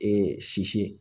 Ee sisi